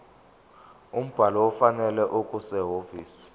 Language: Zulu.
umbhalo ofanele okusehhovisi